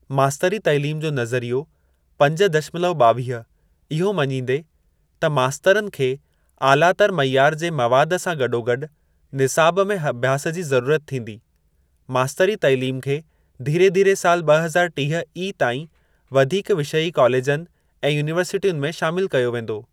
मास्तरी तइलीम जो नज़रियो पंज दशमलव ॿावीह इहो मजींदे, त मास्तरनि खे ऑलातर मइयार जे मवाद सां गडोगडु निसाब में अभ्यास जी ज़रूरत थींदी, मास्तरी तालीम खे धीरे धीरे साल ब॒ हज़ार टीह ई. ताईं वधीक विषयी कॉलेजनि ऐं यूनीवर्सिटियुनि में शामिल कयो वेंदो।